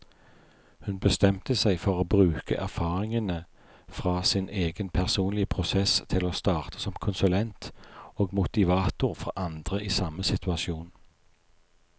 Hun bestemte seg for å bruke erfaringene fra sin egen personlige prosess til å starte som konsulent og motivator for andre i samme situasjon.